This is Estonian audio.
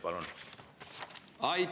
Palun!